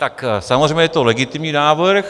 Tak samozřejmě je to legitimní návrh.